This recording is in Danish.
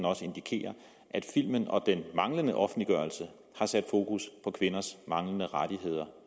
også indikerer at filmen og den manglende offentliggørelse har sat fokus på kvinders manglende rettigheder